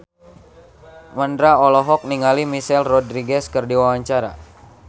Mandra olohok ningali Michelle Rodriguez keur diwawancara